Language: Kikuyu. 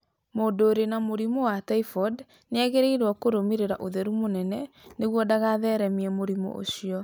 Mũndũ ũrĩ na mũrimũ wa typhoid nĩ agĩrĩirũo kũrũmĩrĩra ũtheru mũnene nĩguo ndagatheremie mũrimũ ũcio.